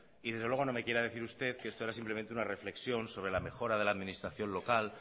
y desde luego no me quiera decir usted que esto era simplemente una reflexión sobre la mejora de la administración local